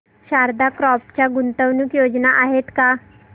Sharda crop च्या गुंतवणूक योजना आहेत का